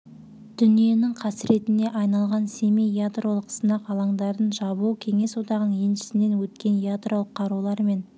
дүниенің қасіретіне айналған семей ядролық сынақ алаңдарын жабу кеңес одағының еншісінен өткен ядролық қарулар мен